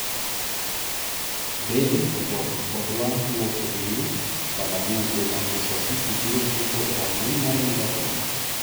Bale ojok odwa wuok Real - Balague Be Manchester City biro chopo e rang`iny mar Liverpool?